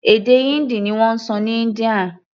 Èdè Hindi ni wọ́n sọ ní India.